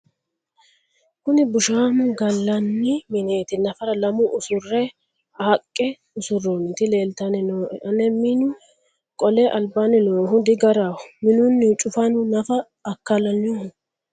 kuni bushamo gallanni mineeti nafara lame usura haqqe usurroonniti leeltanni nooe ane minu qole albannni noohu digaraho minunnihu cufanu nafa akkalno